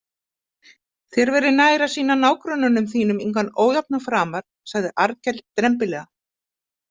Þér væri nær að sýna nágrönnum þínum engan ójafnað framar, sagði Arnkell drembilega.